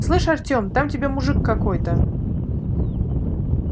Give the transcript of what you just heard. слышь артём там тебя мужик какой-то